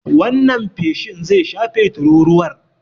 Wannan feshin zai shafe tururuwar.